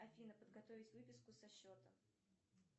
афина подготовить выписку со счета